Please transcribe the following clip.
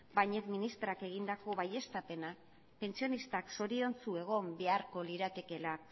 bañez ministrak egindako baieztapena pentsionistak zoriontsu egon beharko liratekeela